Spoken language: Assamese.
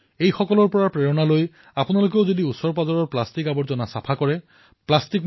যোৱা কিছুদিনৰ পৰা এওঁলোকে গোতাখোৰ সমুদ্ৰ তটৰ প্ৰায় ১০০ মিটাৰ দূৰলৈ গৈ গভীৰ পানীত ডুব মাৰে আৰু তাৰে পৰা আৱৰ্জনাবোৰ তুলি আনে